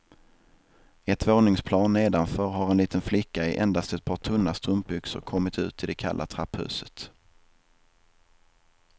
Ett våningsplan nedanför har en liten flicka i endast ett par tunna strumpbyxor kommit ut i det kalla trapphuset.